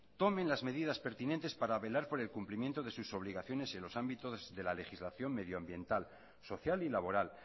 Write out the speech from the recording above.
tomen las medidas pertinentes para velar por el cumplimiento de sus obligaciones en los ámbitos de la legislación medioambiental social y laboral